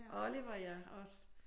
Oliver ja også